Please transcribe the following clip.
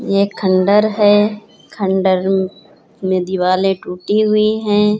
एक खंडर है। खंडर में दिवाले टूटी हुई है।